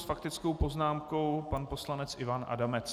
S faktickou poznámkou pan poslanec Ivan Adamec.